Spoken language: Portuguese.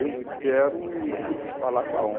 Eu quero ir falar com a